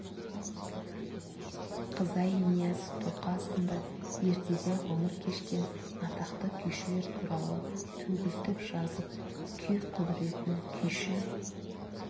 қызай нияз тоқа сынды ертеде ғұмыр кешкен атақты күйшілер туралы төгілтіп жазып күй құдіретін күйші